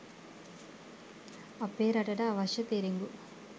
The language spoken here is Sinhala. අපේ රටට අවශ්‍ය තිරිඟු